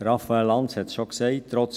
Raphael Lanz hat es bereits gesagt: